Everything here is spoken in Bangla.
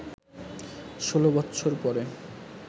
১৬ বৎসর পরে